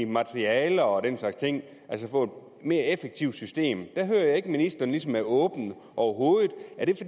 materialer og den slags ting altså for at mere effektivt system der hører jeg ikke at ministeren ligesom er åben overhovedet